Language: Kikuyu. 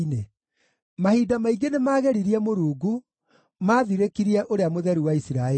Mahinda maingĩ nĩmageririe Mũrungu; maathirĩkirie Ũrĩa-Mũtheru-wa-Isiraeli.